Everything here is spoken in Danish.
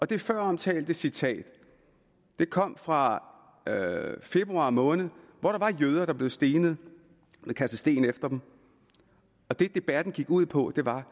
det føromtalte citat kom fra februar måned hvor der var jøder der blev stenet man kastede sten efter dem og det debatten gik ud på var